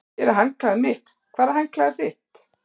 Hér er handklæðið mitt. Hvar er handklæðið þitt?